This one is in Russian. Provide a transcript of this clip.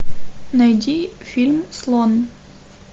найди фильм слон